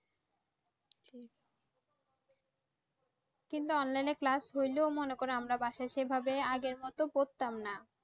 কিংবা Online এ Class করলেও মনে করো আমরা বাসায় সেভাবে আগের মত পড়তাম না